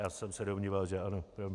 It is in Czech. Já jsem se domníval že ano.